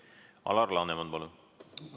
Alar Laneman, palun!